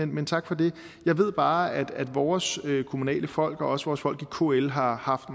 men tak for det jeg ved bare at vores kommunalfolk og også vores folk i kl har haft